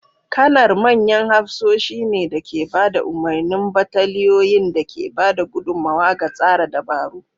Kanar manyan hafsoshi ne da ke ba da umarnin bataliyoyin da ke ba da gudummawa ga tsara dabaru.